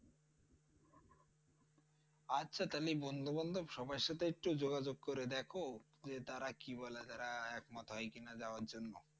আচ্ছা তাইলে বন্ধু বান্ধব সবার সাথে একটু যোগাযোগ করে দেখো যে তারা কি বলে তারা একমত হয় কিনা যাওয়ার জন্যে